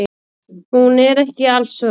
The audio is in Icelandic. Hún er ekki alsvört.